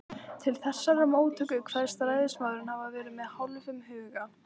Til þessarar móttöku kveðst ræðismaðurinn hafa farið með hálfum huga.